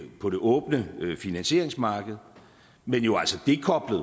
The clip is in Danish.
på det åbne finansieringsmarked men jo altså dekoblet